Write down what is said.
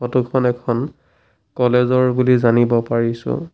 Photo খন এখন college ৰ বুলি জানিব পাৰিছোঁ।